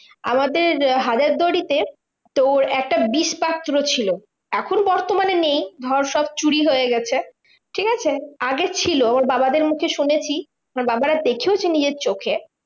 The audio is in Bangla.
আমাদের হাজারদুয়ারিতে তোর একটা বিষপাত্র ছিল। এখন বর্তমানে নেই, ধর সব চুরি হয়ে গেছে, ঠিকাছে? আগে ছিল ওর বাবাদের মুখে শুনেছি আমার বাবারা দেখেওছে নিজের চোখে